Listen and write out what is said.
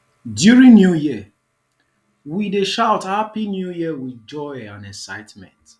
during new year we dey shout happy new year with joy and excitement